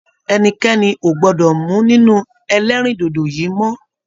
Ẹnikẹni o gbọdọ mú nínú ẹlẹrindodo yìí mọ!